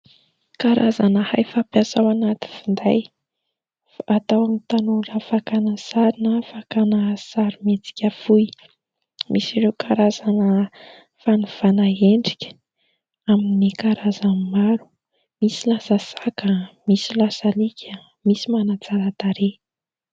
Karazana hay fampiasa ao anaty finday. Ataon'ny tanora fakana sary na fakana sarimihetsika fohy ; misy ireo karazana fanovana endrika amin'ny karazan'ny maro misy lasa saka, misy lasa alika, misy manatsara tarehy.